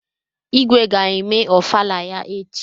Igwe ga-eme Ofala ya echi.